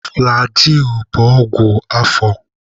Flagịị bụ ọgwụ afọ.